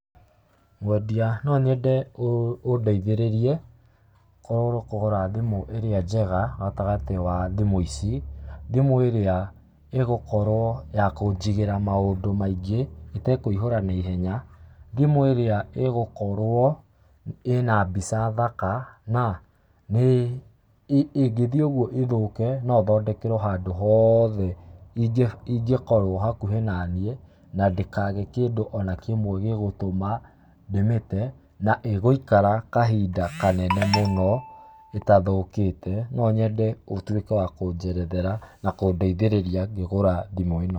Mwendia no nyende ũndeithĩrie kũgũra thimũ ĩrĩa njega gatagatĩ wa thimũ ici, thimũ ĩrĩa ĩgũkorwo ya kũnjigĩra maũndũ maingĩ, ĩtekũihũra na ihenya, thimũ ĩrĩa ĩgũkorwo ĩna mbica thaka, na ĩngĩthiĩ ũguo ĩthũke, no thondekerwo handũ hoothe ingĩkorwo hakuhĩ na niĩ, na ndĩkage kĩndũ o na kĩmwe gĩgũtũma ndĩmĩte, na ĩgũikara kahinda kanene mũno ĩtathũkĩte, no nyende ũtuĩke wa kũnjerethera na kũndeithĩrĩria ngĩgũra thimũ ĩno.